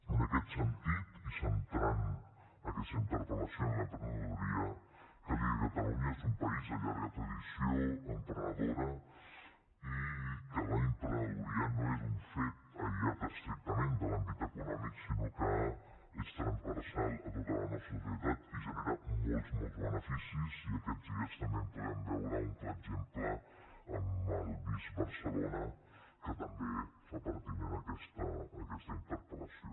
en aquest sentit i centrant aquesta interpel·lació en l’emprenedoria cal dir que catalunya és un país de llarga tradició emprenedora i que l’emprenedoria no és un fet aïllat estrictament de l’àmbit econòmic sinó que és transversal a tota la nostra societat i genera molts beneficis i aquests dies també en podem veure un clar exemple amb el bizbarcelona que també fa pertinent aquesta interpel·lació